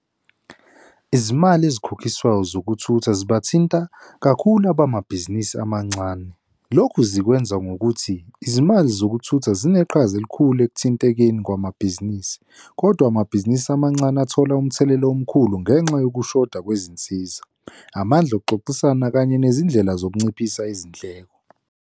Izimali ezikhokhiswayo zokuthutha zibathinta kakhulu abamabhizinisi amancane. Lokhu zikwenza ngokuthi izimali zokuthutha zineqhaza elikhulu ekuthintekeni kwamabhizinisi, kodwa amabhizinisi amancane athola umthelela omkhulu ngenxa yokushoda kwezinsiza, amandla okuxoxisana kanye nezindlela zokunciphisa izindleko.